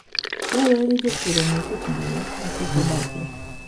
Dwarore ni jopur ong'e kit ngima makich odakie.